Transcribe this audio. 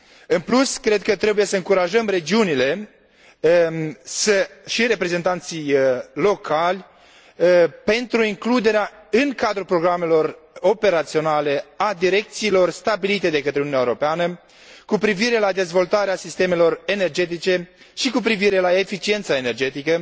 În plus, cred că trebuie să încurajăm regiunile și reprezentanții locali pentru includerea, în cadrul programelor operaționale, a direcțiilor stabilite de către Uniunea Europeană cu privire la dezvoltarea sistemelor energetice și cu privire la eficiența energetică,